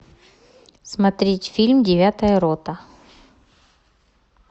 смотреть фильм девятая рота